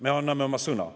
Me anname oma sõna.